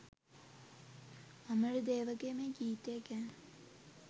අමරදේවගේ මේ ගීතය ගැන